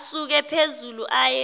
asuke phezulu aye